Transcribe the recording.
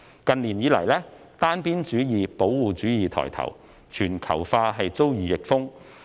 近年以來，單邊主義、保護主義抬頭，全球化遭遇逆風。